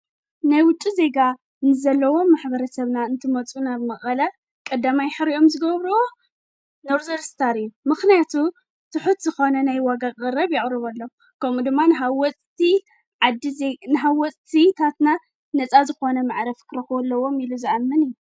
ባራት ኣብ ምቕራብ መስተ ዘተኮራ ኮይነን ማሕበራዊን ዕለታዊን ሃዋህው ይህባ። ቤት መግቢ ብቐንዱ ኣብ ምቕራብ መግቢ ዘተኮራ ኮይነን፡ ሰፊሕ ኣማራጺታት መግቢ የቕርባ። ክልቲኦም ናይቲ ካልእ ባእታታት ከቕርቡ ይኽእሉ እዮም፣ ነፍሲ ወከፎም ግን ፍሉይ ቀንዲ ትኹረት ኣለዎም።